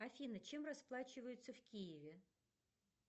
афина чем расплачиваются в киеве